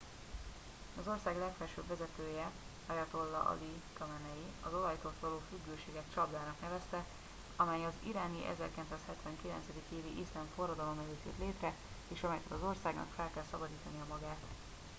az ország legfelsőbb vezetője ayatollah ali khamenei az olajtól való függőséget csapdának nevezte amely az iráni 1979. évi iszlám forradalom előtt jött létre és amelytől az országnak fel kell szabadítania magát